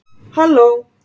halló!